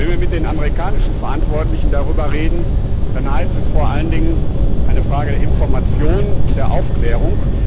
Wenn wir mit den amerikanischen Verantwortlichen darüber reden, dann heißt es vor allen Dingen Das ist eine Frage der Information und der Aufklärung.